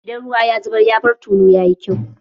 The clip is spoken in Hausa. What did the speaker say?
Idan ruwa ya zubar, ya bar tulu, ya yi kyau?